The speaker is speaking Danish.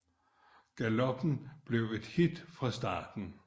Galoppen blev et hit fra starten